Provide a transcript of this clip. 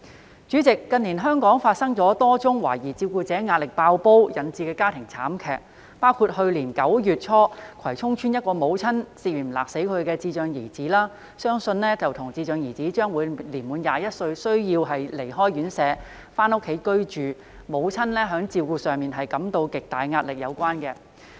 代理主席，近年香港發生多宗懷疑因照顧者壓力"爆煲"而引致的家庭慘劇，包括去年9月初葵涌邨一名母親涉嫌勒死其智障兒子，相信與智障兒將滿21歲而須離開院舍回家居住、母親在照顧上感到巨大壓力有關。